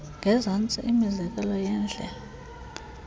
ngezantsi imizekelo yeendlela